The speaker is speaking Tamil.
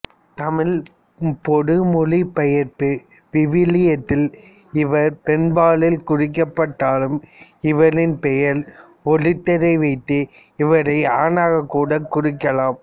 தமிழ் பொது மொழிபெயர்ப்பு விவிலியத்தில் இவர் பெண்பாலில் குறிக்கப்பட்டாலும் இவரின் பெயரின் ஒலியழுத்தத்தை வைத்து இவரை ஆணாக கூட குறிக்கலாம்